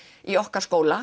í okkar skóla